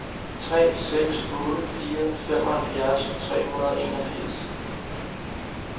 tre seks otte fire femoghalvfjerds tre hundrede og enogfirs